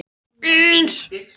Hallfreður, hvernig er veðurspáin?